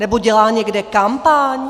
Nebo dělá někde kampaň?